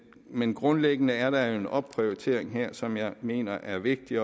men grundlæggende er der jo en opprioritering her som jeg mener er vigtig